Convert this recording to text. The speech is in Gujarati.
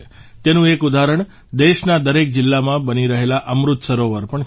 તેનું એક ઉદાહરણ દેશના દરેક જિલ્લામાં બની રહેલા અમૃત સરોવર પણ છે